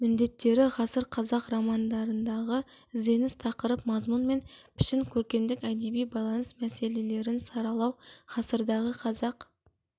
міндеттері ғасыр қазақ романдарындағы ізденіс тақырып мазмұн мен пішін көркемдік әдеби байланыс мәселелерін саралау ғасырдағы қазақ